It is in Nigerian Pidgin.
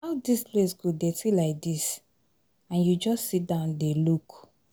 How dis place go dirty like dis and you just sit down dey look?